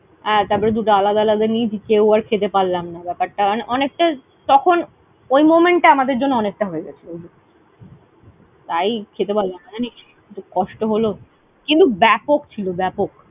হ্যাঁ, তারপরে দুটো আলাদা আলাদা নিয়েছি। কেউ আর খেতে পারলাম না। ব্যাপারটা অনেকটা, তখন ওই moment আমাদের জন্য অনেকটা হয়ে গেছিল। তাই খেতে পারলাম না জানিস। খুব কষ্ট হল কিন্তু ব্যাপক ছিল, ব্যাপক!